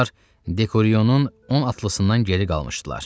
Onlar Dekoriyonun 10 atlısından geri qalmışdılar.